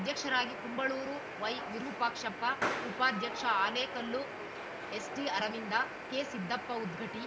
ಅಧ್ಯಕ್ಷರಾಗಿ ಕುಂಬಳೂರು ವೈವಿರುಪಾಕ್ಷಪ್ಪ ಉಪಾಧ್ಯಕ್ಷ ಹಾಲೇಕಲ್ಲು ಎಸ್‌ಟಿಅರವಿಂದ ಕೆಸಿದ್ದಪ್ಪ ಉದ್ಗಟ್ಟಿ